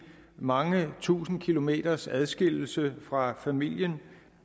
mange tusind kilometers adskillelse fra familien